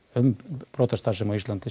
um brotastarfsemi á Íslandi